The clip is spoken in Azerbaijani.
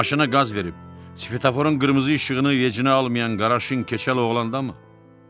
Maşına qaz verib, svetoforun qırmızı işığını heç nəyə almayan Qaraşın keçəl oğlandamı?